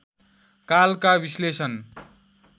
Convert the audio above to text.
कालका विश्लेषण